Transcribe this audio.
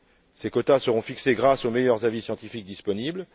Ces quotas seront fixés grâce aux meilleurs avis scientifiques disponibles.